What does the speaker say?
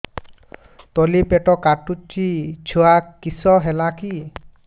ତଳିପେଟ କାଟୁଚି ଛୁଆ କିଶ ହେଲା କି